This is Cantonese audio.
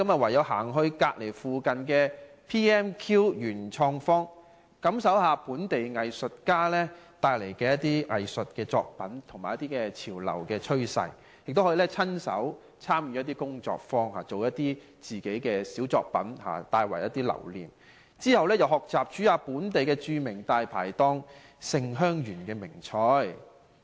唯有走到附近的 PMQ 元創方，感受一下本地藝術家的作品和潮流趨勢，亦可以參加一些工作坊，親身造一些小作品留念，之後學習烹調一下本地著名大牌檔"勝香園"的名菜。